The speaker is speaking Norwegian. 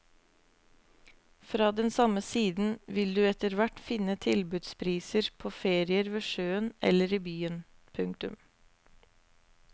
Fra den samme siden vil du etterhvert finne tilbudspriser på ferier ved sjøen eller i byen. punktum